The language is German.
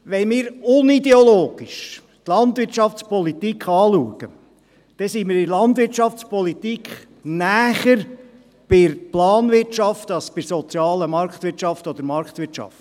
Wenn wir die Landwirtschaftspolitik unideologisch betrachten, dann sind wir in der Landwirtschaftspolitik näher bei der Planwirtschaft als bei der sozialen Marktwirtschaft oder Marktwirtschaft.